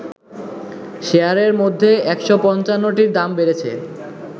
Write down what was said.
শেয়ারের মধ্যে ১৫৫ টির দাম বেড়েছে